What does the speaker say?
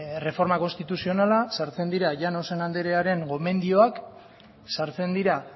erreforma konstituzionala sartzen dira llanos andrearen gomendioak sartzen dira